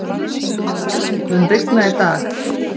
Bryndís, mun rigna í dag?